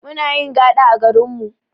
Munayin gaɗa a garinmu